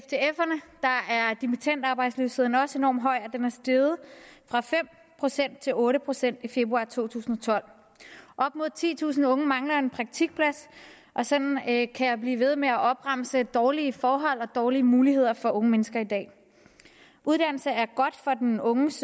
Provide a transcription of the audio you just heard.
dimittendarbejdsløsheden også enormt høj og er steget fra fem procent til otte procent i februar to tusind og tolv op mod titusind unge mangler en praktikplads og sådan kan kan jeg blive ved med at opremse eksempler på dårlige forhold og dårlige muligheder for unge mennesker i dag uddannelse er godt for den unges